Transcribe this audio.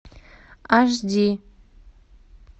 аш ди